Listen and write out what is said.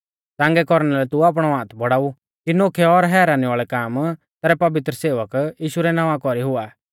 च़ांगै कौरना लै तू आपणौ हाथ बौड़ाऊ कि नोखै और हैरानी वाल़ै काम तैरै पवित्र सेवक यीशु रै नावां कौरी हुआ